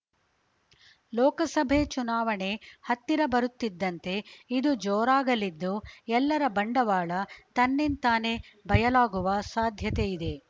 ಲೋಕಸಭೆ ಚುನಾವಣೆ ಹತ್ತಿರ ಬರುತ್ತಿದ್ದಂತೆ ಇದು ಜೋರಾಗಲಿದ್ದು ಎಲ್ಲರ ಬಂಡವಾಳ ತನ್ನಿಂತಾನೇ ಬಯಲಾಗುವ ಸಾಧ್ಯತೆಯಿದೆ